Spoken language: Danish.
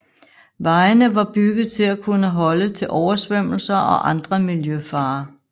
Vejene var bygget til kunne holde til oversvømmelser og andre miljøfarer